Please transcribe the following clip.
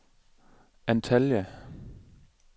Antalya